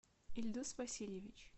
ильдус васильевич